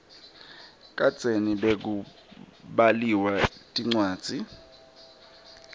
kadzeni bekubaliwa tincwadzi